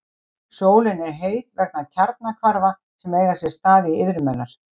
Sólin er heit vegna kjarnahvarfa sem eiga sér stað í iðrum hennar.